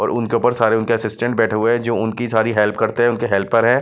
और उनके ऊपर उनके सारे असिस्टेंट बैठे हुए हैं जो उनकी सारी हेल्प करते हैं उनके हेल्पर हैं।